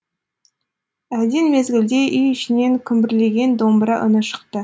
әлден мезгілде үй ішінен күмбірлеген домбыра үні шықты